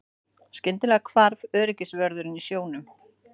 Skyndilega hvarf öryggisvörðurinn sjónum.